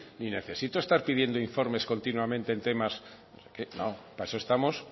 ni necesito estar pidiendo informes continuamente en temas para eso estamos